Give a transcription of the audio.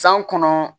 San kɔnɔ